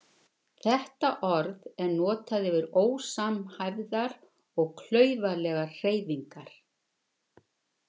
Þetta orð er notað yfir ósamhæfðar og klaufalegar hreyfingar.